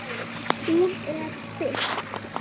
Hún er þykk.